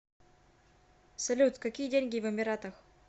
салют какие деньги в эмиратах